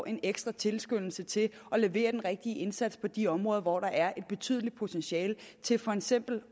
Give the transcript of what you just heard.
en ekstra tilskyndelse til at levere den rigtige indsats på de områder hvor der er et betydeligt potentiale til for eksempel